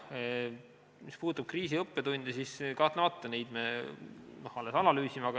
Mis puudutab kriisi õppetunde, siis kahtlemata, neid me alles analüüsime.